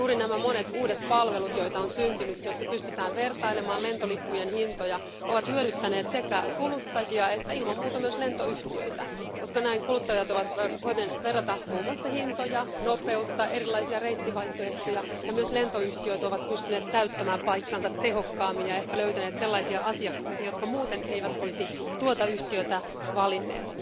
Juuri nämä monet syntyneet uudet palvelut, joissa pystytään vertailemaan lentolippujen hintoja, ovat hyödyttäneet sekä kuluttajia että ilman muuta myös lentoyhtiöitä, koska kuluttajat ovat voineet verrata muun muassa hintoja, nopeutta ja erilaisia reittivaihtoehtoja ja myös lentoyhtiöt ovat pystyneet täyttämään paikkansa tehokkaammin ja löytäneet ehkä sellaisia asiakkaita, jotka muuten eivät olisi tuota yhtiötä valinneet.